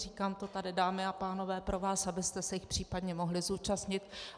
Říkám to tady, dámy a pánové, pro vás, abyste se jich případně mohli zúčastnit.